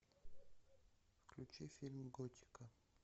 включи фильм готика